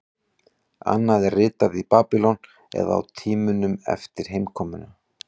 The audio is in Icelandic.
Annað er ritað í Babýlon eða á tímanum eftir heimkomuna.